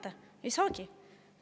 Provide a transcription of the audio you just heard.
Aga näete, ei saagi!